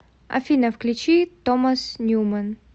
афина включи томас ньюмэн